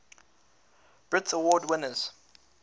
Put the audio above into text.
brit award winners